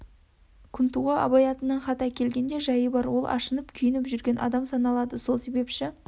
күнтуға абай атынан хат әкелген де жайы бар ол ашынып күйініп жүрген адам саналады сол себеші